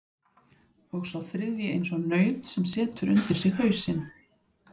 Og sá þriðji eins og naut sem setur undir sig hausinn.